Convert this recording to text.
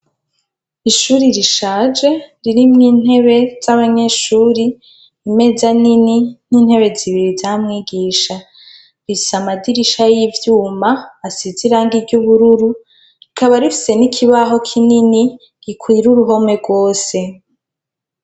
Ishuri rishaje ririmwo intebe z'abanyeshuri, imeza Nini n'intebe zibiri za mwigisha, rifise amadirisha y'ivyuma asize irangi ry'ubururu rikaba rifise n'ikibaho kinini gikwira uruhome gwose.